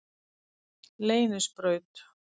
Leynisbraut